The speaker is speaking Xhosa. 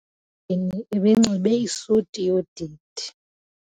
Umyeni ebenxibe isuti yodidi.